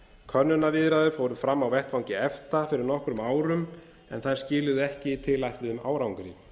könnunarviðræður fóru fram á vettvangi efta fyrir nokkrum árum en þær skiluðu ekki tilætluðum árangri